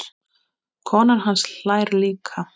Konan hans hlær líka.